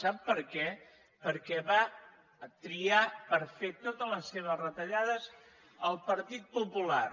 sap per què perquè va triar per fer totes les seves retallades el partit popular